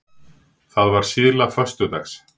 Það var síðla föstudags.